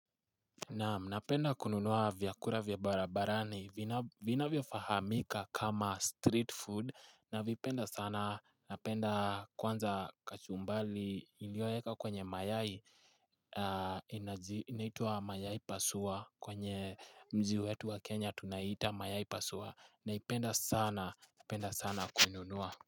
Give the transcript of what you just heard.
Naam, napenda kununua vyakura vya barabarani vinavyofahamika kama street food na vipenda sana napenda kwanza kachumbali ilioeka kwenye mayai Inaitua mayai pasua kwenye mji wetu wa kenya tunaita mayai pasua naipenda sana penda sana kuinunua.